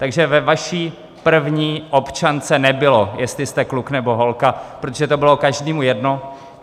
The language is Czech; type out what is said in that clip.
Takže ve vaší první občance nebylo, jestli jste kluk, nebo holka, protože to bylo každému jedno.